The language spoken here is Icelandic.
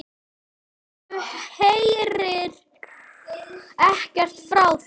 Gerður heyrir ekkert frá þeim.